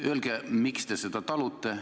Öelge, miks te seda talute.